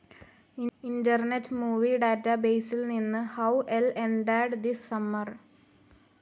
internet movie ഡാറ്റാബേസിൽ നിന്ന്ഹൌ ൽ എൻഡാഡ് ദിസ് സമ്മർ